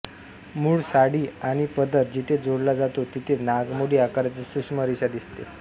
मूळ साडी आणि पदर जिथे जोडला जातो तिथे नागमोडी आकाराची सूक्ष्म रेषा दिसते